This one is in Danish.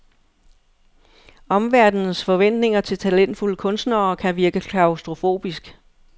Omverdenens forventninger til talentfulde kunstnere kan virke klaustrofobisk.